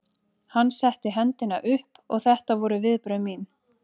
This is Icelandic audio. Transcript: Hann setti hendina upp og þetta voru viðbrögð mín.